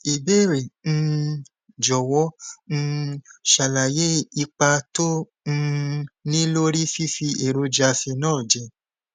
ibeere um jọwọ um ṣàlàyé ipa tó um ń ní lórí fífi èròjà phenol jẹ